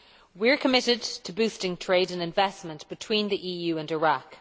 We are committed to boosting trade and investment between the EU and Iraq.